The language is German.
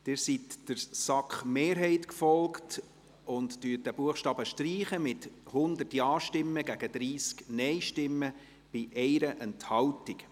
Sie sind der SAK-Mehrheit gefolgt und streichen diesen Buchstaben mit 100 Ja- gegen 30 Nein-Stimmen bei 1 Enthaltung.